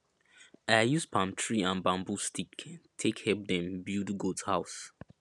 i use palm tree and bambu stick take help dem build goat house